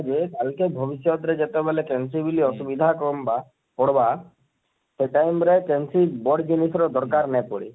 ଆଜି କା ଭବିଷତ ରେ ଯେତେବେଳେ ର ଅସୁବିଧା କମବା ପଡ଼ବା ସେ time ରେ କେହେନସି ବଡ଼ ଜିନିଷ ର ଦରକାର ନାଇଁ ପଡେ,